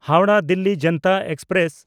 ᱦᱟᱣᱲᱟᱦ–ᱫᱤᱞᱞᱤ Janata express